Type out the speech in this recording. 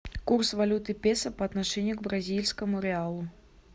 курс валюты песо по отношению к бразильскому реалу